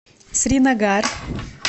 сринагар